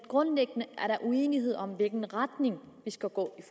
grundlæggende er uenighed om i hvilken retning vi skal gå i